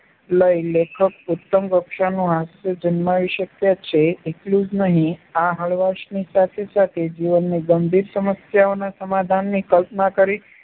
લઈ લેખક ઉત્તમ કક્ષાનું હાસ્ય જન્માવી શક્યા છે એટલું જ નહીં, આ હળવાશની સાથે-સાથે જીવનની ગંભીર સમસ્યાઓના સમાધાનની કલ્પના કરી